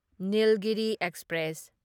Nilgiri express